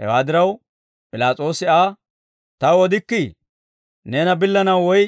Hewaa diraw, P'ilaas'oosi Aa, «Taw odikkii? Neena billanaw woy